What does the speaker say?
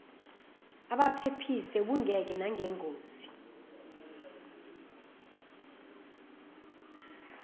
abaphephise ubengeke nangengozi